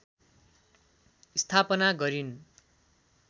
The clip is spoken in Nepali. स्थापना गरिन्